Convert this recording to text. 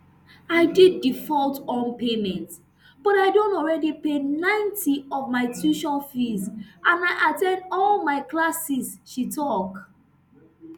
i did default [on payments] but i don already pay ninety of my tuition fees and i at ten d all of my classes she tok